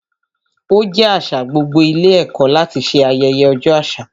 Ó jẹ́ àṣà gbogbo ilé ẹ̀kọ́ láti ṣe ayẹyẹ ọjọ́ àṣà.